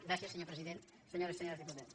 gràcies senyor president senyores i senyors diputats